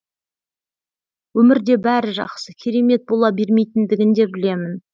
өмірде бәрі жақсы керемет бола бермейтіндігін де білемін